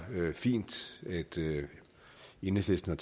fint at enhedslisten